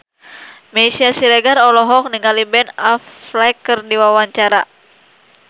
Meisya Siregar olohok ningali Ben Affleck keur diwawancara